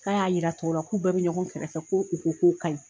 K'a y'a jira tɔw la k'u bɛɛ bɛ ɲɔgɔn kɛrɛfɛ fɛ ko u ko k'o ka ɲi